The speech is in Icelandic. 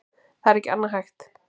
Það er ekki annað hægt